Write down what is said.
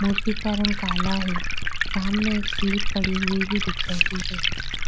मूर्ति का रंग काला है सामने एक स्लिप पड़ी हुई भी दिख रही है।